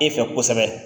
E fɛ kosɛbɛ